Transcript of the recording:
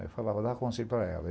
Aí eu falava, dava conselho para ela.